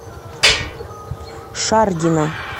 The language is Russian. шаргина